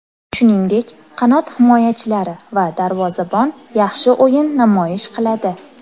Shuningdek, qanot himoyachilari va darvozabon yaxshi o‘yin namoyish qiladi.